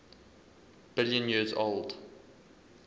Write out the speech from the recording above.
billion years old